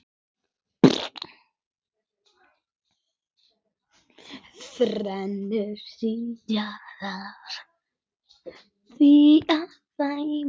Þarna vilja því margir koma.